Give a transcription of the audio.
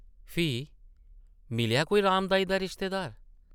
‘‘फ्ही? मिलेआ कोई राम देई दा रिश्तेदार?’’